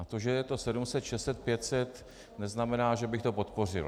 A to, že je to 700, 600, 500, neznamená, že bych to podpořil.